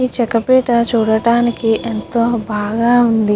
ఈ చెక్కపేట చూడటానికి ఎంతో బాగా ఉంది.